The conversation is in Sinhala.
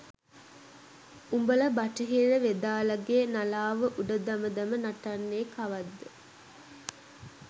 උඹල බටහිර වෙදාලගේ නලාව උඩ දම දම නටන්නෙ කවද්ද?